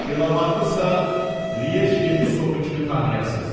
Delamarkısa Liej yepiskopu kimi tanıyasız.